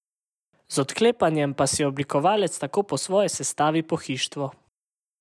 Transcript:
Z odklepanjem pa si obiskovalec tako po svoje sestavi pohištvo.